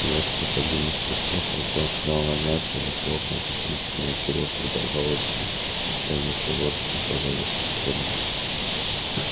в несколько длинных прыжков артём сумел нагнать его и хлопнул по плечу но кирилл продолжал идти и они всё больше удалялись от остальных